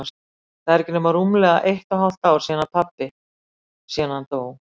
Það er ekki nema rúmlega eitt og hálft ár síðan pabbi- síðan hann dó.